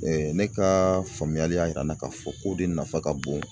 ne ka faamuyali y'a yira na k'a fɔ ko de nafa ka bon